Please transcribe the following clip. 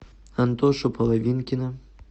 антошу половинкина